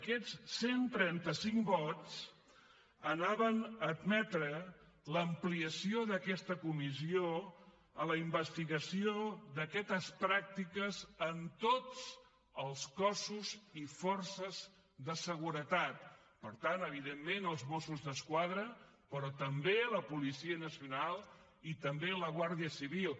aquests cent i trenta cinc vots anaven a admetre l’ampliació d’aquesta comissió a la investigació d’aquestes pràctiques en tots els cossos i forces de seguretat per tant evidentment als mossos d’esquadra però també a la policia nacional i també a la guàrdia civil